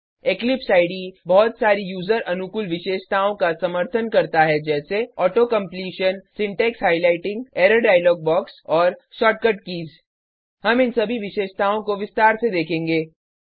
Eclipse IDE बहुत सारी user अनुकूल विशेषताओं का समर्थन करता है जैसे auto completion syntax highlighting error dialog box और शॉर्टकट कीज़ हम इन सभी विशेषताओं को विस्तार से देखेंगे